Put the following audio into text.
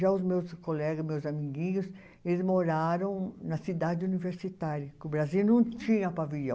Já os meus colegas, meus amiguinhos, eles moraram na cidade universitária, que o Brasil não tinha pavilhão.